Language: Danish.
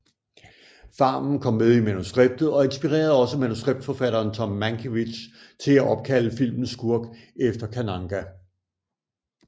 Farmen kom med i manuskriptet og inspirerede også manuskriptforfatteren Tom Mankiewicz til at opkalde filmens skurk efter Kananga